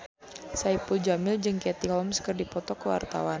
Saipul Jamil jeung Katie Holmes keur dipoto ku wartawan